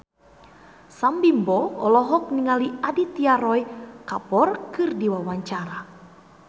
Sam Bimbo olohok ningali Aditya Roy Kapoor keur diwawancara